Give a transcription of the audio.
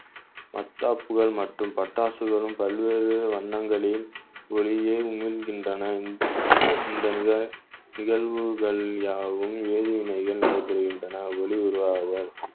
மத்தாப்புகள் மற்றும் பட்டாசுகளும் பல்வேறு வண்ணங்களில் ஒளியை உமிழ்கின்றன இந்த நிக~ நிகழ்வுகள் யாவும் வேதிவினைகள் புரிகின்றன ஒளி உருவாகுதல்